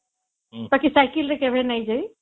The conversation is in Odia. ବାକି ସାଇକେଲ ରେ କେବେ ନାଇଁ ଯାଏ